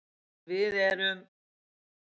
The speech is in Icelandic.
En við erum